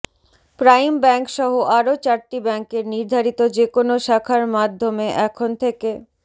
prime ব্যাংকসহ আরও চারটি ব্যাংকের নির্ধারিত যেকোনো শাখার মাধ্যমে এখন থেকে